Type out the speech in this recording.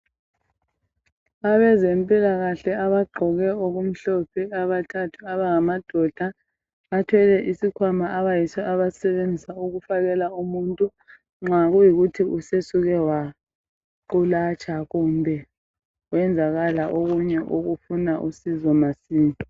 Abezempilakahle abagqoke okumhlophe abathathu abangamadoda bathwele isikhwama abayiso abasisebenzisa ukufakela umuntu nxa kuyikuthi usesuke waqulatsha kumbe kwenzakala okunye okufuna usizo masinya.